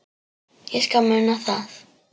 Ég skal muna það